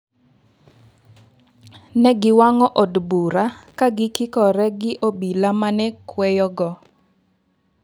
Ne giwang'o od bura ka gikikore gi obila mane kweyogo.